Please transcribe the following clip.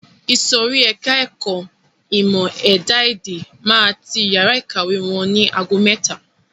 Ìsòrí ẹka ẹ̀kọ́ ìmọ̀ ẹ̀dá-èdè máa ti yàrá ìkàwé wọn ni ago mẹ́ta.